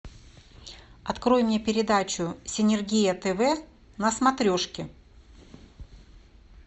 открой мне передачу синергия тв на смотрешке